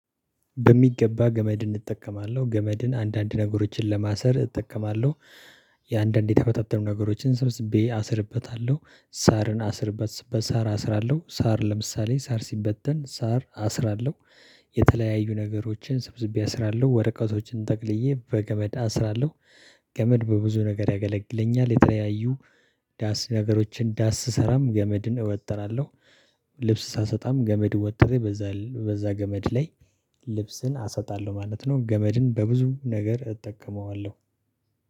በሚገባ ገመድን እጠቀማለሁ። ገመድን አንዳንድ ነገሮችን ለማሰር እጠቀማለሁ። የአንዳንድ የተበታተኑ ነገሮችን ሰብስቤ አስርበታለሁ። ሳርን አስርበት በሳር አስራለሁ። ሳር ለምሳሌ ሳር ሲበተን ሳር አስራለሁ። የተለያዩ ነገሮችን ሰብስቤ አስራለሁ። ወረቀቶችን ጠቅልዬ በገመድ አስራለሁ። ገመድ በብዙ ነገር ያገለግለኛል። የተለያዩ ዳስ ነገሮችን ዳስ ስሰራም ገመድን እወጥራለሁ። ልብስ ሳሰጣም ገመድ ወጥሬ በዛ በዛ ገመድ ላይ ልብስን አሰጣለሁ ማለት ነው። ገመድን በብዙ ነገር እጠቀመዋለሁ።